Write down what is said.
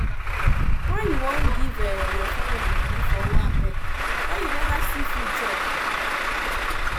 why you wan give your family moni for owambe wen you neva see food chop